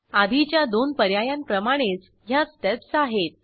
आधीच्या दोन पर्यायांप्रमाणेच ह्या स्टेप्स आहेत